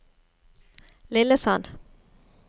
Lillesand